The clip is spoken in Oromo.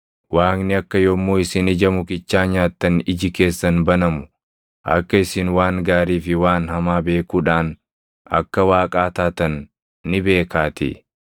Waaqni akka yommuu isin ija mukichaa nyaattan iji keessan banamu, akka isin waan gaarii fi waan hamaa beekuudhaan akka Waaqaa taatan ni beekaatii.”